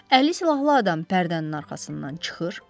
Əli silahlı adam pərdənin arxasından çıxır.